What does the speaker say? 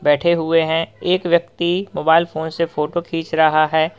बैठे हुए हैं एक व्यक्ति मोबाइल फोन से फोटो खींच रहा है।